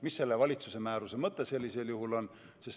Mis selle valitsuse määruse mõte sellisel juhul oleks?